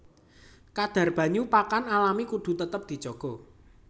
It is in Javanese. Kadhar banyu pakan alami kudu tetep dijaga